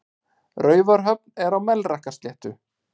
Raufarhöfn er á Melrakkasléttu.